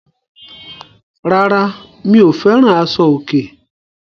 Rárá, mi ò fẹ́ràn àṣọ̀- òkè.